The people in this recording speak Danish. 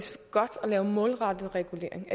godt at lave målrettet regulering